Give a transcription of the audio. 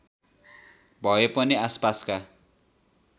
भए पनि आसपासका